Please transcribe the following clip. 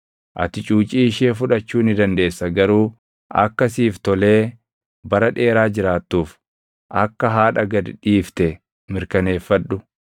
ati cuucii ishee fudhachuu ni dandeessa; garuu akka siif tolee bara dheeraa jiraattuuf akka haadha gad dhiifte mirkaneeffadhu.